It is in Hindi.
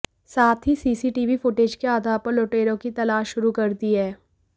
साथ ही सीसीटीवी फुटेज के आधार पर लुटेरों की तलाश शुरू कर दी है